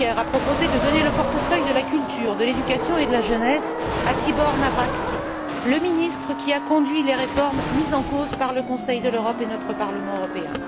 Juncker a proposé de donner le portefeuille de la culture, de l'éducation et de la jeunesse à Tibor Navracsics, le ministre qui a conduit les réformes mises en cause par le Conseil de l'Europe et notre Parlement européen.